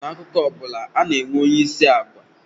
N'akụkọ ọ bụla, ana-enwe onyeisi agwa